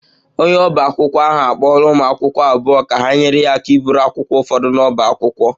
Onye ọba akwụkwọ ahụ akpọọla ụmụ akwụkwọ abụọ ka ha nyere ya aka iburu akwụkwọ ụfọdụ n'ọbá akwụkwọ